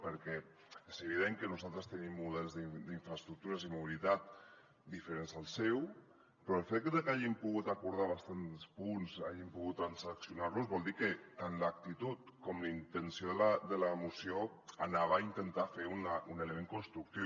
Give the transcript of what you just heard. perquè és evident que nosaltres tenim models d’infraestructures i mobilitat diferents al seu però el fet de que hàgim pogut acordar bastants punts hàgim pogut transaccionar los vol dir que tant l’actitud com la intenció de la moció anaven a intentar fer un element constructiu